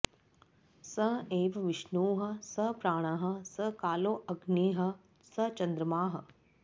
स एव विष्णुः स प्राणः स कालोऽग्निः स चन्द्रमाः